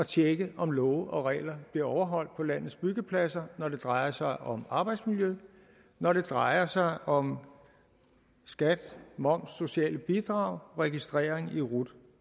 tjekke om love og regler bliver overholdt på landets byggepladser når det drejer sig om arbejdsmiljø og når det drejer sig om skat moms sociale bidrag registrering i rut